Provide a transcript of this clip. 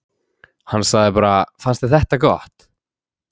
Hann sagði bara: Fannst þér þetta gott?